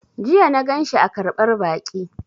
Jiya na ganshi a ƙarɓar baƙi